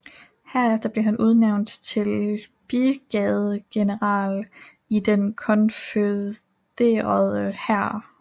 Herefter blev han udnævnt til brigadegeneral i den konfødererede hær